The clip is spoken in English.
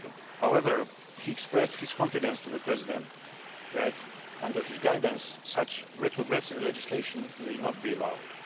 However, he expressed his confidence to the President that, under his guidance, such retrogressive legislation will not be allowed.